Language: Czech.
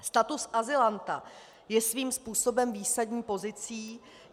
Status azylanta je svým způsobem výsadní pozicí.